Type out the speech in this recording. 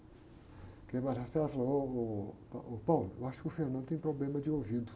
Porque a falou, ô ô, eu acho que o tem problema de ouvido.